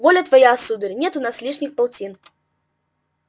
воля твоя сударь нет у нас лишних полтин